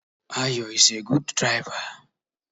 Ayo is a good driver